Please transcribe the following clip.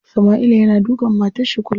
Sama'ila yana dukan matar shi kullum.